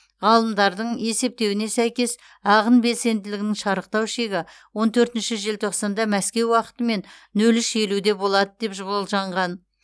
ғалымдардың есептеуіне сәйкес ағын белсенділігінің шарықтау шегі он төртінші желтоқсанда мәскеу уақытымен нөл үш елуде болады деп болжанған